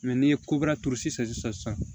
n'i ye kobara turu sisan sisan